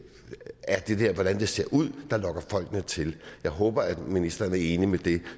hvordan det ser ud der lokker folkene til jeg håber at ministeren er enig i det